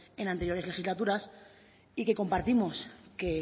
en anteriores legislaturas y que compartimos que